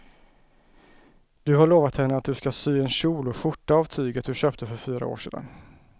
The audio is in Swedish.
Du har lovat henne att du ska sy en kjol och skjorta av tyget du köpte för fyra år sedan.